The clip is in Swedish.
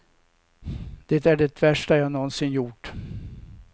Det är det värsta jag nånsin gjort.